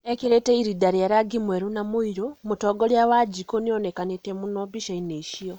Ekĩrĩte irĩnda rĩa rangi mwerũ na mũirũ, mũtongoria wanjiku nĩonekanĩte mũno mbica-inĩ icio